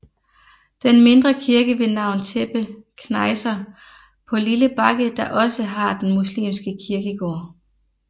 Den mindre kirke ved navn Tepe knejser på lille bakke der også har den muslimske kirkegård